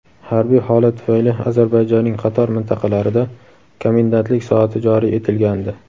Harbiy holat tufayli Ozarbayjonning qator mintaqalarida komendantlik soati joriy etilgandi.